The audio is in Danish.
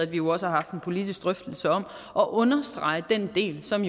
vi også haft en politisk drøftelse om at understrege den del som